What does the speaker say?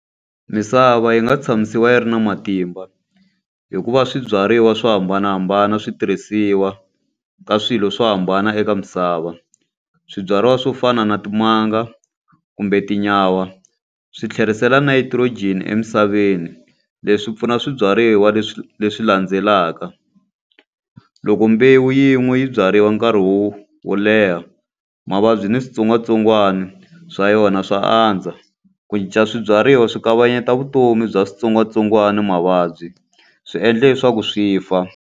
Misava yi nga tshamisiwa yi ri na matimba hi ku va swibyariwa swo hambanahambana swi tirhisiwa ka swilo swo hambana eka misava. Swibyariwa swo fana na timanga kumbe tinyawa, swi tlherisela nitrogen emisaveni. Leswi pfuna swibyariwa leswi landzelaka. Loko mbewu yin'we yi byariwa nkarhi wo wo leha, mavabyi ni switsongwatsongwani swa yona swa andza. Ku cinca swibyariwa swi kavanyeta vutomi bya switsongwatsongwana ni mavabyi, swi endla leswaku swi fa.